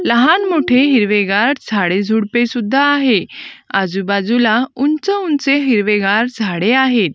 लहान-मोठे हिरवेगार झाडे-झुडपे सुद्धा आहे. आजूबाजूला उंच-उंच हिरवेगार झाडे आहेत.